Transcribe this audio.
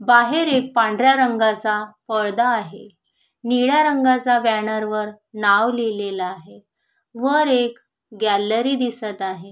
बाहेर एक पांढऱ्या रंगाच पडदा आहे निळ्या रंगाच बॅनर वर नाव लिहलेल आहे वर एक गॅलरी दिसत आहे.